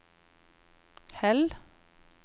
Hell